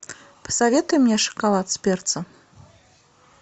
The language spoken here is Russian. посоветуй мне шоколад с перцем